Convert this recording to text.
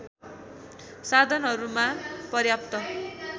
साधनहरूमा पर्याप्त